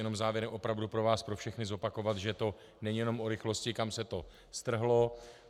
Jenom závěrem opravdu pro vás pro všechny zopakovat, že to není jenom o rychlosti, kam se to strhlo.